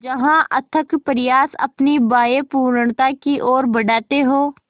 जहाँ अथक प्रयास अपनी बाहें पूर्णता की ओर बढातें हो